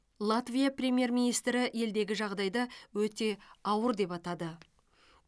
латвия премьер министрі елдегі жағдайды өте ауыр деп атады